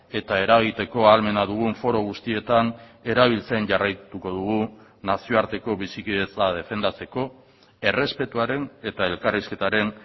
eta eragiteko ahalmena dugun foru guztietan erabiltzen jarraituko dugu nazioarteko bizikidetza defendatzeko errespetuaren eta elkarrizketaren